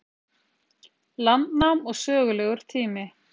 Landnám og sögulegur tími.